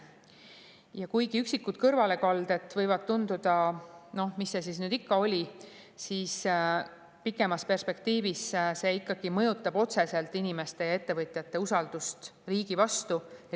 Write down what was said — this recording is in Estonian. Ja kuigi võib tunduda, et üksikud kõrvalekalded, noh, mis see siis ikka oli, siis pikemas perspektiivis see mõjutab otseselt inimeste ja ettevõtjate usaldust riigi vastu.